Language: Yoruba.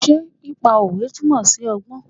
Ṣé pípa òwe túmọ̀ sí ọgbọ́n?